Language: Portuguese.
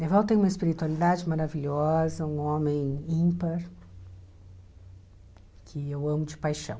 Evaldo tem uma espiritualidade maravilhosa, um homem ímpar, que eu amo de paixão.